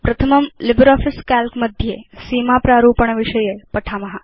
प्रथमं LibreOffice Calc मध्ये सीमा प्रारूपण विषये पठिष्याम